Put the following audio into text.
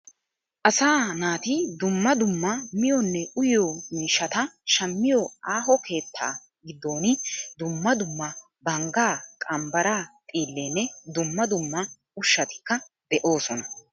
Asaa naati dumma dumma miyonne uyiyo miishata shammiyo aaho keetta giddooni dumma dumma bangaa, qambaraa xiilleenne dumma dumma ushshatikka de'oosona.